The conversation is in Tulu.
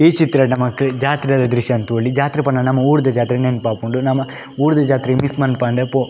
ಈ ಚಿತ್ರಡ್ ನಮಕ್ ಜಾತ್ರೆದ ದ್ರಶ್ಯನ್ ತೂವೊಲಿ ಜಾತ್ರೆ ಪಂಡ ನಮ ಊರುದ ಜಾತ್ರೆ ನೆಂಪಾಪುಂಡು ನಮ ಊರುದ ಜಾತ್ರೆ ಮಿಸ್ಸ್ ಮನ್ಪಂದೆ ಪೋ.